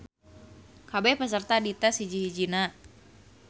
Kabeh peserta dites hiji-hijina.